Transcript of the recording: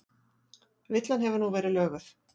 Villan hefur nú verið löguð